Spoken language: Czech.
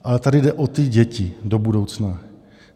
Ale tady jde o ty děti do budoucna.